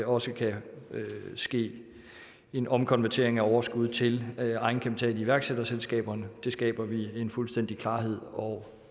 også kan ske en omkonvertering af overskud til egenkapital i iværksætterselskaberne det skaber vi en fuldstændig klarhed over